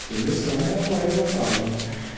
Porque o meu sonho é morar em São Paulo, né?